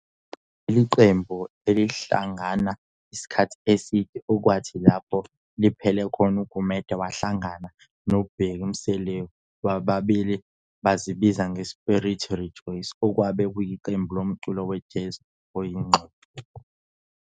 Leli qembu alihlalanga isikhathi eside, okwathi lapho liphela khona uGumede wahlagana noBheki Mseleku bobabili bazibiza nge"Spirit Rejoice" okwabe kuyiqembu lomculo we-Jazz oyingxube.